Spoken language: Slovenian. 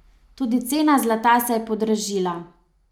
Tudi cena zlata se je podražila.